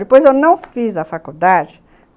Depois eu não fiz a faculdade.